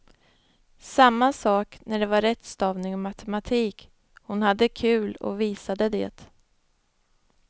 Samma sak när det var rättstavning och matematik, hon hade kul och visade det.